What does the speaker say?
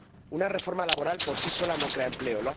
Una reforma laboral por sí sola no crea empleo